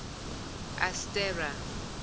astera